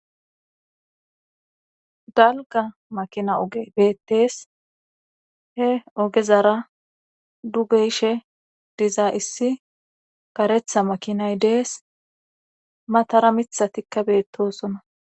Dalga makina oge beettees he ogezara dugeshe diza issi karetha makinay dees matara mitha tikka beettosonna